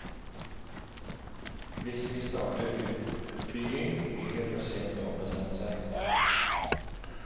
Hvis vi starter utbygging, blir det for sent å ombestemme seg.